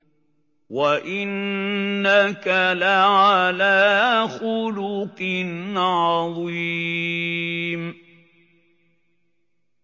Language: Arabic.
وَإِنَّكَ لَعَلَىٰ خُلُقٍ عَظِيمٍ